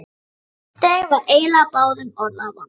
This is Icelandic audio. Þeim var eiginlega báðum orða vant.